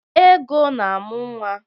Ego na-amụ nwa.